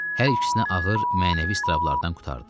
Hər ikisini ağır mənəvi əzablardan qurtardı.